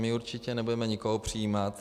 My určitě nebudeme nikoho přijímat.